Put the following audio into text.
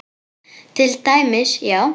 Til dæmis, já.